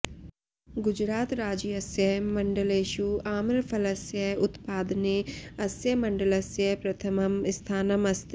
गुजरातराज्यस्य मण्डलेषु आम्रफलस्य उत्पादने अस्य मण्डलस्य प्रथमं स्थानम् अस्ति